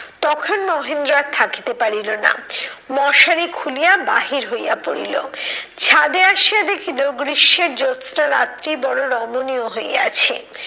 তখন মহেন্দ্র আর থাকিতে পারিল না, মশারি খুলিয়া বাহির হইয়া পড়িল। ছাদে আসিয়া দেখিলো গ্রীষ্মের জোৎস্না রাত্রি বড় রমণীয় হইয়াছে।